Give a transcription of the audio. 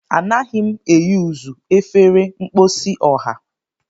Anaghị m eyuzu efere mposi ọha.